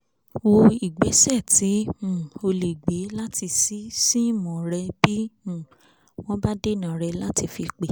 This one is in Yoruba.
wo ìgbésẹ̀ tí um o lè gbé láti ṣí síìmù rẹ bí um wọ́n bá dènà rẹ láti fi pè